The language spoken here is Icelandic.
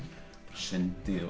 sundi